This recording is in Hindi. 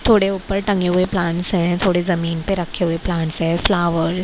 थोड़े ऊपर टंगे हुए प्लांट्स है थोड़े जमीन पे रखे हुए प्लांट्स हैं फ्लावर --